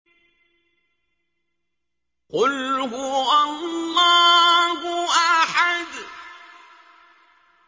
قُلْ هُوَ اللَّهُ أَحَدٌ